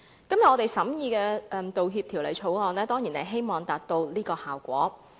今天我們審議《道歉條例草案》，當然是希望達致這個效果。